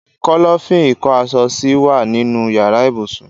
Kọ́lọ́fín ìko aṣọ sí wa nínú yàrá ibùsùn